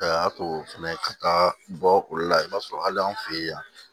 A y'a to fɛnɛ ka taa bɔ olu la i b'a sɔrɔ hali an fe yen yan